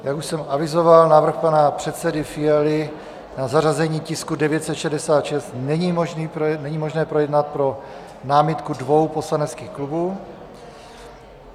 Jak už jsem avizoval, návrh pana předsedy Fialy na zařazení tisku 966 není možné projednat pro námitku dvou poslaneckých klubů.